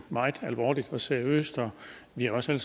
meget alvorligt og seriøst og vi har også